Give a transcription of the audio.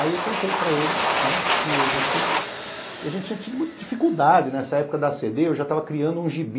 Aí eu contei para ele que a gente tinha tido muita dificuldade nessa época da a a cê dê, eu já estava criando um gibi,